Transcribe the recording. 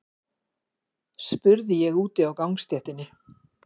spurði ég úti á gangstéttinni.